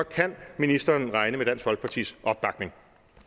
kan ministeren regne med dansk folkepartis opbakning